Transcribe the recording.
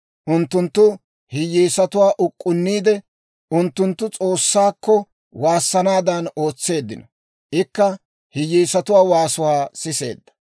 Unttunttu hiyyeesatuwaa uk'k'unniide, unttunttu S'oossaakko waassanaadan ootseeddino; ikka hiyyeesatuwaa waasuwaa siseedda.